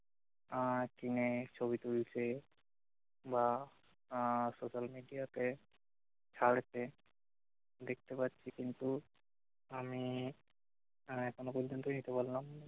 আর কিনে ছবি তুলছে বা আহ social media তে ছাড়ছে দেখতে পাচ্ছি কিন্তু আমি এখনো পর্যন্ত নিতে পারলাম না